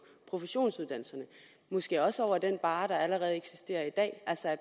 professionsuddannelserne måske også over den barre der eksisterer i dag altså at